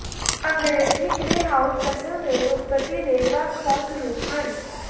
ਅੰਗ੍ਰੇਜ਼ੀ greyhound ਨਸਲ ਦੇ ਉਤਪਤੀ ਦੇ ਵੱਖ ਵੱਖ ਰੂਪ ਹਨ